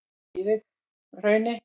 Víðihrauni